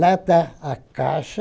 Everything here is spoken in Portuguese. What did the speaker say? Lá está a caixa.